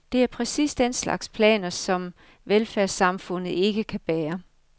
Det er præcis den slags planer, som velfærdssamfundet ikke kan bære.